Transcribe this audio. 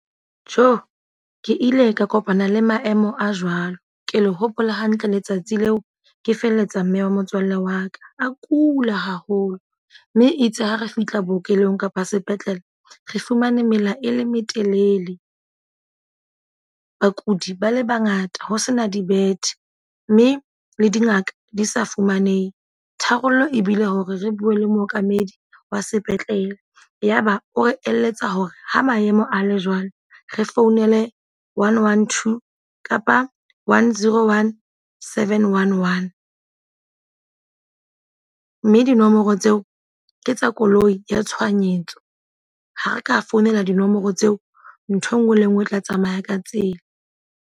Tjo! Ke ile ka kopana le maemo a jwalo. Ke le hopola hantle letsatsi leo, ke felletsa mme wa motswalle wa ka. A kula haholo. Mme itse ha re fihla bookelong kapa sepetlele, re fumane mela e metelele. Bakudi ba le bangata ho sena dibethe. Mme le dingaka di sa fumanehe. Tharollo ebile hore re bue le mookamedi wa sepetlele. Yaba o re eletsa hore ha maemo a le jwalo, re founele one, one, two kapa one, zero, one, seven, one, one. Mme dinomoro tseo ke tsa koloi ya tshohanyetso. Ha re ka founela dinomoro tseo, ntho e nngwe le e nngwe e tla tsamaya ka tsela.